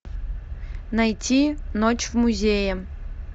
найти ночь в музее